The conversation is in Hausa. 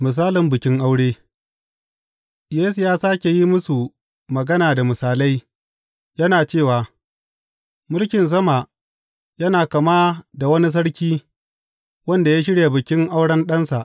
Misalin bikin aure Yesu ya sāke yin musu magana da misalai, yana cewa, Mulkin sama yana kama da wani sarki wanda ya shirya bikin auren ɗansa.